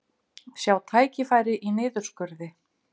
Sjá tækifæri í niðurskurði